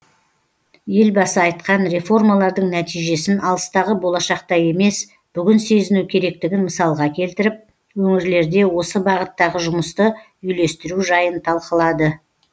елбасы айтқан реформалардың нәтижесін алыстағы болашақта емес бүгін сезіну керектігін мысалға келтіріп өңірлерде осы бағыттағы жұмысты үйлестіру жайын талқылады